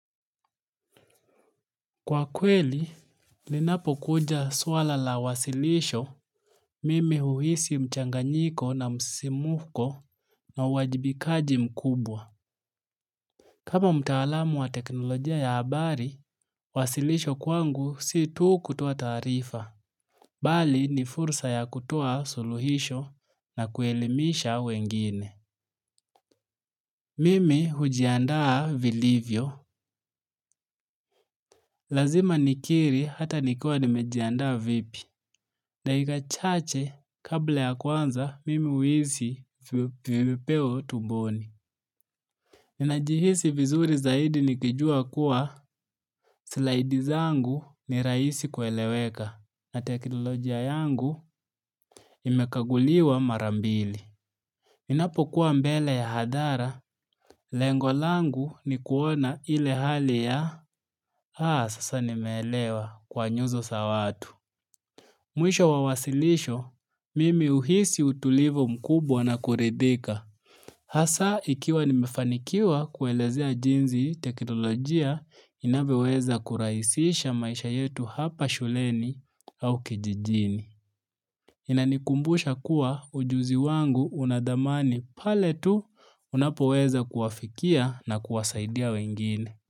Kwa kweli, linapo kuja swala la wasilisho, mimi huhisi mchanganyiko na msisimko na uwajibikaji mkubwa. Kama mtaalamu wa teknolojia ya habari, wasilisho kwangu si tu kutoa taarifa. Bali ni fursa ya kutoa suluhisho na kuelimisha wengine. Mimi hujiandaa vilivyo. Lazima nikiri hata nikiwa nimejiandaa vipi. Dakika chache, kabla ya kuanza, mimi uhisi vipepeo tumboni. Ninajihisi vizuri zaidi nikijua kuwa slaidi zangu ni rahisi kueleweka na teknolojia yangu imekaguliwa mara mbili. Ninapo kuwa mbele ya hadhara, lengo langu ni kuona ile hali ya, haa sasa nimelewa kwa nyuzo za watu. Mwisho wa wasilisho, mimi uhisi utulivu mkubwa na kuridhika. Hasaa ikiwa nimefanikiwa kuelezea jinsi teknolojia, inavyeweza kurahisisha maisha yetu hapa shuleni au kijijini. Inanikumbusha kuwa ujuzi wangu una dhamani pale tu unapoweza kuwafikia na kuwasaidia wengine.